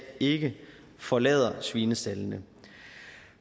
ikke forlader svinestaldene